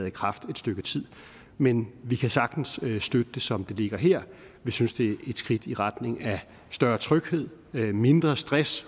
i kraft et stykke tid men vi kan sagtens støtte det som det ligger her vi synes det er et skridt i retning af større tryghed mindre stress